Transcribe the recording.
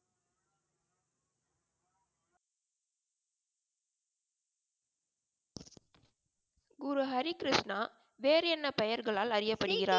குரு ஹரி கிருஷ்ணா வேறு என்ன பெயர்களால் அறியப்படுகிறார்?